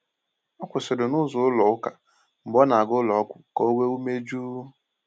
O kwụsịrị n’ụzọ ụlọ ụka mgbe ọ na-aga ụlọọgwụ ka o nwee ume jụụ.